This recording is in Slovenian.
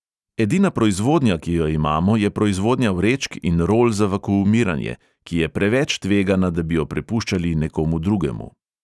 Edina proizvodnja, ki jo imamo, je proizvodnja vrečk in rol za vakuumiranje, ki je preveč tvegana, da bi jo prepuščali nekomu drugemu.